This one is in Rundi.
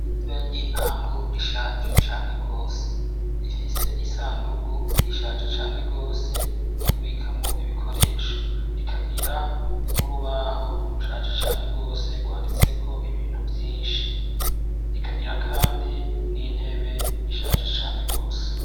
Ishure ry'intango rishaje cane rwose ,rifise isandugu ishaje cane rwose yo kubikamo ibikoresho rikagira n'urubaho rushaje cane rwose rwanditse ko ibintu vyinshi rikagira kandi n'intebe rishaje cane gose.